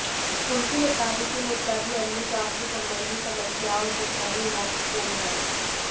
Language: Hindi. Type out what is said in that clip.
उनके मुताबिक यह मुद्दा भी अन्य स्वास्थ्य संबंधी समस्याओं जितना ही महत्वपूर्ण है